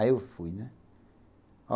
Aí eu fui, né?